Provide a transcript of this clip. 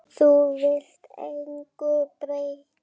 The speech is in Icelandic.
Þú vilt engu breyta.